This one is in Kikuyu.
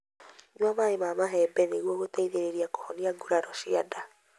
Nyua maĩ ma mahembe nĩguo gũteithia kũhonia nguraro cia nda.